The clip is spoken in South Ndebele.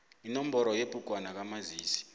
inomboro yebhugwana kamazisi